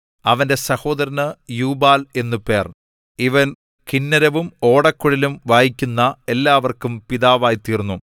അവന്റെ സഹോദരന് യൂബാൽ എന്നു പേർ ഇവൻ കിന്നരവും ഓടക്കുഴലും വായിക്കുന്ന എല്ലാവർക്കും പിതാവായിതീർന്നു